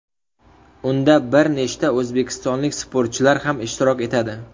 Unda bir nechta o‘zbekistonlik sportchilar ham ishtirok etadi.